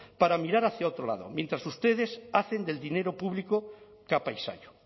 para mirar hacia otro lado mientras ustedes hacen del dinero público capa y sayo